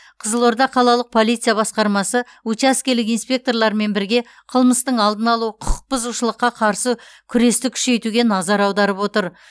қызылорда қалалық полиция басқармасы учаскелік инспекторлармен бірге қылмыстың алдын алу құқық бұзушылыққа қарсы күресті күшейтуге назар аударып отыр